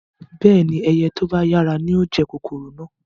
Bẹ́ẹ̀ni, ẹyẹ to ba yara ni yóò jẹ kòkòrò náà